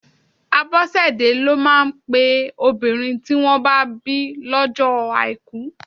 Abosede lọ máa ń pe obìnrin tí wọn bá bí lọ́jọ́ àìkú.